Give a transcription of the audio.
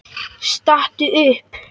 Stattu upp!